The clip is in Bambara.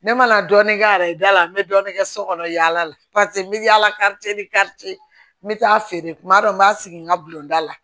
Ne mana dɔɔnin kɛ a ye da la n bɛ dɔɔnin kɛ so kɔnɔ yaala la paseke n bɛ yala n bɛ taa a feere kuma dɔ n b'a sigi n ka bulonda la